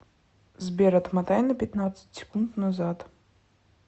сбер отмотай на пятнадцать секунд назад